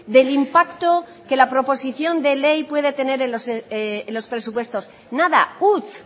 del impacto que la proposición de ley puede tener en los presupuestos nada huts